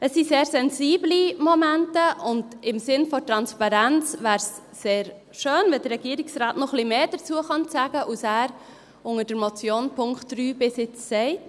Es sind sehr sensible Momente, und im Sinn der Transparenz wäre es sehr schön, wenn der Regierungsrat noch ein wenig mehr dazu sagen könnte, als er bei der Motion unter Punkt 3 bisher gesagt hat.